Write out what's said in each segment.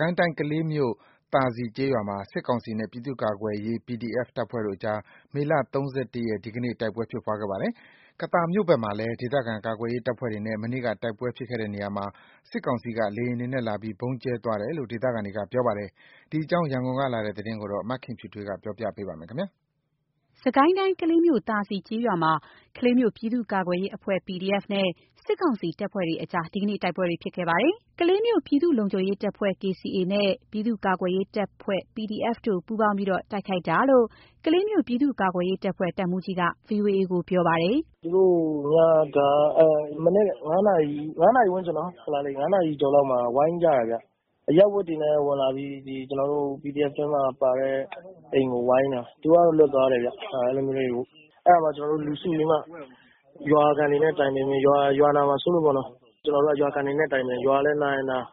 ကိုင်းတိုင်း ကလေးမြို့ သာစည်ကျေးရွာမှာ စစ်ကောင်စီနဲ့ ပြည်သူ့ကာကွယ်ရေး PDF တပ်ဖွဲ့တို့ကြား မေလ ၃၁ ရက် ဒီနေ့ တိုက်ပွဲဖြစ်ပွားခဲ့ပါတယ်။ ကသာမြို့နယ်ဘက်မှာလည်း ဒေသခံကာကွယ်ရေးတပ်ဖွဲ့တွေနဲ့ မနေ့က တိုက်ပွဲဖြစ်ခဲ့တဲ့နေရာမှာ စစ်ကောင်စီက လေယာဉ်တွေနဲ့ လာပြီး ဗုံးကြဲသွားတယ်လို့ ဒေသခံတွေ ပြောပါတယ်။ ဒီအကြောင်း ရန်ကုန်ကလာတဲ့သတင်းကို မခင်ဖြူထွေး ပြောပြပါမယ်။ စစ်ကိုင်းတိုင်း ကလေးမြို့ သာစည်ကျေးရွာမှာ ကလေးမြို့ ပြည်သူ့ကာကွယ်ရေးအဖွဲ့ (PDF) နဲ့ စစ်ကောင်စီတပ်တို့ကြား ဒီနေ့ တိုက်ပွဲတွေဖြစ်ခဲ့ပါတယ်။ ကလေးမြို့က ပြည်သူ့လုံခြုံရေးအဖွဲ့ (KCA) နဲ့ ပြည်သူ့ကာကွယ်ရေးတပ်ဖွဲ့ (PDF) တို့က ပူပေါင်းထားပြီး PDF တပ်ဖွဲ့အနေနဲ့ တိုက်ခိုက်တာလို့ ကလေးမြို့ ပြည်သူ့ကာကွယ်ရေးတပ်ဖွဲ့ တပ်မှူးကြီးက ဗွီအိုအေကို ပြောပါတယ်။ “သူတို့က မနက် ၅ နာရီဝန်းကျင်၊ ၅ နာရီအကျော်လောက်မှာ ဝိုင်းကြတယ်ဗျ။ အရပ်ဝတ်တွေနဲ့ ဝင်လာပြီး ဒီကျနော်တို့ PDF ထဲမှာ ပါတဲ့ အိမ်ကို ဝိုင်းတာ သူတို့ကတော့ လွတ်သွားတယ်ဗျ။ အဲ့ဒီလိုမျိုးလေး အဲ့ဒါကို ကျနော်တို့ လူစုပြီးမှ ရွာခံတွေနဲ့ တိုင်ပင်ပြီး ရွာနာမှာစိုးလို့ပေါ့နော် ကျနော်တို့က ရွာခံတွေနဲ့ တိုင်ပင်၊ ရွာလည်း နာရင် နာ၊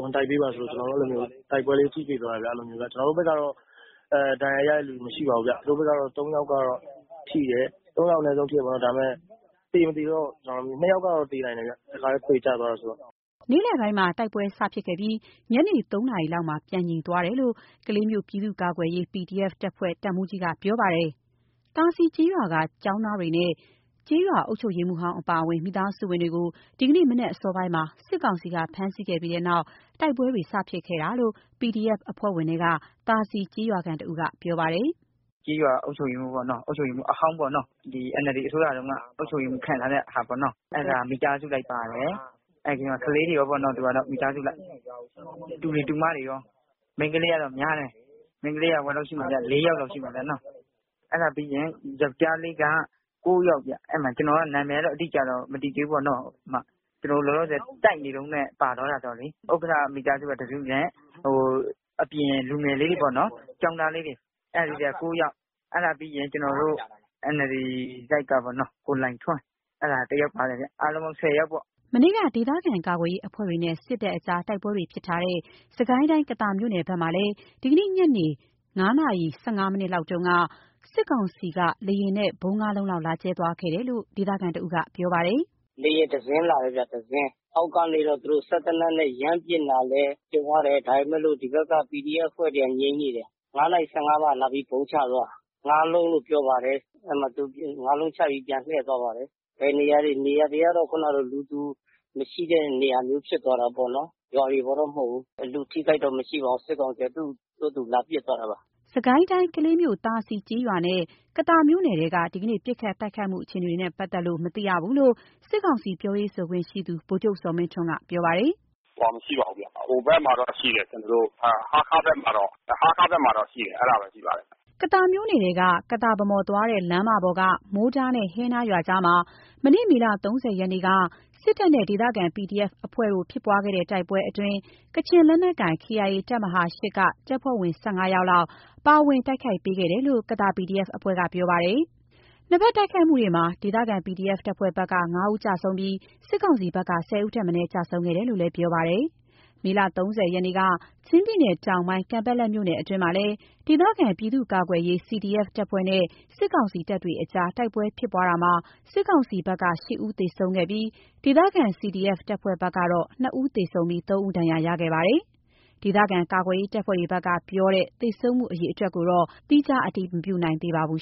ဝင်တိုက်ပေးပါဆိုလို့ ကျနော်တို့ အဲ့ဒီလိုမျိုး တိုက်ပွဲလေးထိတွေ့သွားတယ်ဗျ။ အဲ့ဒီလိုမျိုး ကျနော်တို့ဘက်ကတော့ ဒဏ်ရာရတဲ့ လူမရှိပါဘူးဗျ။ သူတို့ဘက်ကတော့ ၃ ယောက်ကတော့ ထိတယ်။ ၃ ယောက် အနည်းဆုံး ထိတယ်ပေါ့နော်.. ဒါပေမဲ့ သေ မသေတော့.. ၂ ယောက်ကတော့နိုင်တယ်ဗျ တစ်ခါတည်း ခွေကျသွားတယ်ဆိုတော့။” နေ့လယ်ပိုင်းမှာ တိုက်ပွဲစဖြစ်ခဲ့ပြီး ညနေ ၃ နာရီလောက်မှာ ပြန်ငြိမ်သွားတယ်လို့ ကလေးမြို့ ပြည်သူ့ကာကွယ်ရေး (PDF) တပ်ဖွဲ့ တပ်မှူးကြီးက ပြောပါတယ်။ သာစည်ကျေးရွာက ကျောင်းသားတွေနဲ့ ကျေးရွာအုပ်ချုပ်ရေးမှူးဟောင်းအပါအဝင် မိသားစုဝင်တွေကို ဒီနေ့မနက်စောပိုင်းမှာ စစ်ကောင်စီက ဖမ်းဆီးခဲ့ပြီးနောက် တိုက်ပွဲတွေ စဖြစ်တာလို့ PDF အဖွဲ့ဝင်ထဲက သာစည်ကျေးရွာခံတစ်ဦးက ပြောပါတယ်။ “ကျေးရွာအုပ်စုရေးမှူးပေါ့နော်၊ အုပ်ချုပ်ရေးမှူးအဟောင်းပေါ့နော်၊ ဒီ NLD အစိုးရတုန်းကအုပ်ချုပ်ရေးမှူး ခန့်ထားတဲ့ဟာပေါ့နော်။ အဲ့ဒါမိသားစုလိုက်ပါတယ်။ အဲ့ဒီထဲမှာ ကလေးတွေရောပေါ့နော်... သူကတော့ မိသားစုအလိုက် တူတွေ၊ တူမတွေရော မိန်းကလေးတော့များတယ်။ မိန်းကလေးက ၄ ယောက်လောက်တော့ ရှိမယ်နော်။ အဲ့ဒါပြီးရင် ယောကျာ်းလေးက ၉ ယောက်ဗျ။ အဲ့ဒီမှာ ကျနော်က နာမည်ကတော့ အတိအကျတော့ မသိသေးဘူးပေါ့နော် ကျနော်တို့ လောလောဆယ်တိုက်နေတုန်းနဲ့ ပါသွားတယ်ဆိုတော့လေ။ဥက္ကဋ္ဌမိသားစု တစ်စုနဲ့ အပြင်လူငယ်လေးတွေပေါ့နော်။ ကျောင်းသားလေးတွေ အဲ့ဒါ ၉ ယောက်။ အဲ့ဒါပြီးရင် ကျနော်တို့ NLD တိုက်ကပေါ့နော်... ကိုလှိုင်ထွန်း အဲ့ဒါတစ်ယောက်ပါတယ်ဗျ အားလုံးပေါင်း ၁၀ ယောက်ပေါ့။” မနေ့က ဒေသခံကာကွယ်ရေးအဖွဲ့တွေနဲ့ စစ်တပ်ကြား တိုက်ပွဲတွေဖြစ်ထားတဲ့ စစ်ကိုင်းတိုင်း ကသာမြို့နယ်ဘက်မှာလည်း ဒီနေ့ညနေ ညနေ ၅ နာရီ ၁၅ မိနစ်လောက်က စစ်ကောင်စီက လေယာဉ်နဲ့ ဗုံး ငါးလုံးလောက် လာကြဲသွားတယ်လို့ ဒေသခံတစ်ဦးက ပြောပါတယ်။ “လေယာဉ် တစ်စင်းဗျ၊ တစ်စင်းအောက်နေကပြီးတော့ သူတို့ စက်သေနတ်နဲ့ ရမ်းပစ်လာလည်း ကြုံရတယ်။ ဒါပေမဲ့လို့ ဒီဘက်က PDF အဖွဲ့တွေက ငြိမ်နေတယ်။ ၅ နာရီ ၁၅ မှာ လာပြီး ဗုံးချသွားတာ ငါးလုံးလို့ ပြောပါတယ်။ အဲ့ဒီမှာ ငါးလုံးချပြီး သူပြန်လှည့်သွားပါတယ်၊ ဘယ်နေရာလဲ နေရာတွေက ခုနတော့ လူသူမရှိတဲ့နေရာဖြစ်သွားတာပေ့ါနော်။ ရွာတွေပေါ်တော့ မဟုတ်ဘူး။ လူအထိအခိုက်တော့ မရှိပါဘူး။ စစ်ကောင်စီက သူ့ဟာသူလာပစ်သွားတာပါ။” စစ်ကိုင်းတိုင်း ကလေးမြို့ သာစည်ကျေးရွာနဲ့ ကသာမြို့နယ်ထဲက ဒီကနေ့ ပစ်ခတ်တိုက်ခိုက်မှုအခြေအနေကို မသိရသေးဘူးလို့ စစ်ကောင်စီ ပြောရေးဆိုခွင့်ရှိသူ ဗိုလ်ချုပ် ဇော်မင်းထွန်းက ပြောပါတယ်။ “ဟိုဟာ မရှိပါဘူးဗျ၊ ဟိုဘက်မှာတော့ ရှိတယ်။ ကျနော်တို့ ဟားခါးဘက်မှာတော့၊ ဟားခါးဘက်မှာတော့ ရှိတယ်။ အဲ့ဒါပဲ ရှိပါတယ်။” ကသာမြို့နယ်ထဲက ကသာ-ဗန်းမော်သွားတဲ့ လမ်းမပေါ်က မိုးတားနဲ့ ဟဲနားရွာကြားမှာ မနေ့ မေလ ၃၀ ရက်နေ့က စစ်တပ်နဲ့ ဒေသခံ PDF အဖွဲ့တို့ ဖြစ်ပွားတဲ့ တိုက်ပွဲအတွင်း ကချင်လက်နက်ကိုင် KIA တပ်မဟာ ၈ က တပ်ဖွဲ့ ၁၅ ယောက်လောက် ပါဝင်တိုက်ခိုက်ပေးတယ်လို့ ကသာ PDF အဖွဲ့ကပြောပါတယ်။ နှစ်ဘက်တိုက်ခိုက်မှုမှာ ဒေသခံ PDF တပ်ဖွဲ့ဘက်က ၅ ဦးကျဆုံးပြီး စစ်ကောင်စီဘက်က ၁၀ ဦးထက်မနည်း ကျဆုံးခဲ့တယ်လို့လည်း ပြောပါတယ်။ မေလ ၃၀ ရက်နေ့က ချင်းပြည်နယ်တောင်ပိုင်း ကန်ပက်လက်မြို့နယ်အတွင်းမှာလည်း ဒေသခံပြည်သူ့ကာကွယ်ရေး CDF တပ်ဖွဲ့နဲ့ စစ်ကောင်စီတို့ကြား တိုက်ပွဲဖြစ်ပွားရာ စစ်ကောင်စီဘက်က ၈ ဦး သေဆုံးခဲ့ပြီး ဒေသခံ CDF တပ်ဖွဲ့ဘက် ၂ ဦး သေ၊ ၃ ဦးဒဏ်ရာရရှိခဲ့ပါတယ်။ ဒေသခံကာကွယ်ရေးတပ်ဖွဲ့တွေဘက်ကပြောတဲ့ သေဆုံးမှုအရေအတွက်ကိုတော့ သီးခြား မတည်မပြုနိုင်သေးပါဘူး